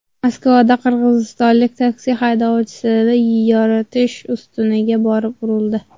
Moskvada qirg‘izistonlik taksi haydovchisi yoritish ustuniga borib urildi.